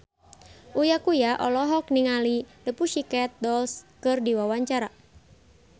Uya Kuya olohok ningali The Pussycat Dolls keur diwawancara